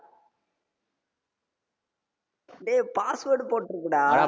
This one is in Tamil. டேய் password போட்ருக்குடா